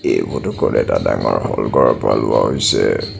এই ফটো খন এটা ডাঙৰ হল ঘৰৰ পৰা লোৱা হৈছে।